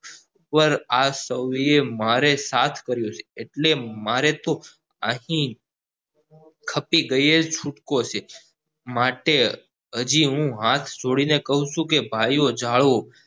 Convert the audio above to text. પાર આ સોએ મારો સાથ કર્યો છે એટલે મારે તો અહીં ખપી ગયેલ છૂટકો છે માટે હાજી હું હાથ જોડી ને કાવ છું કે ભાઈઓ જાઓ